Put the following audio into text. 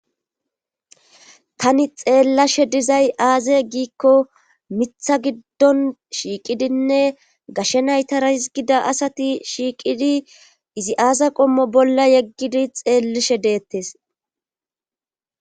tani xeellashe dizay aaze giikko mitha giddon shiiqidinne gashshe naytara hizgida asati shiiqidi izi aaza qommo bolla yeggidi xeellishe deettes